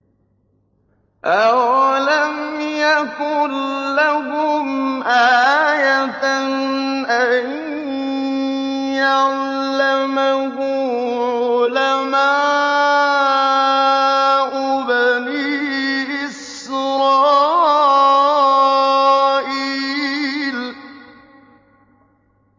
أَوَلَمْ يَكُن لَّهُمْ آيَةً أَن يَعْلَمَهُ عُلَمَاءُ بَنِي إِسْرَائِيلَ